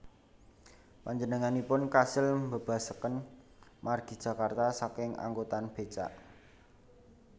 Panjenenganipun kasil mbébasaken margi Jakarta saking angkutan bécak